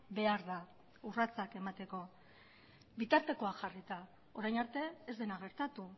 behar da urratsak emateko bitartekoa jarrita orain arte ez dena gertatu